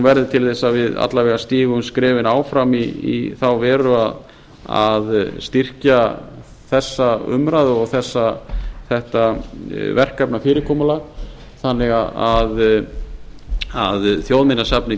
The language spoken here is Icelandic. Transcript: verði til þess að við alla vega stígum skrefin áfram í þá veru að styrkja þessa umræðu og þetta verkefnafyrirkomulag þannig að þjóðminjasafnið